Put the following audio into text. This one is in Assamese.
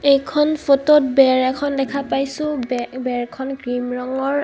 এইখন ফটো ত বেৰ এখন দেখা পাইছোঁ বে বেৰখন ক্ৰীম ৰঙৰ.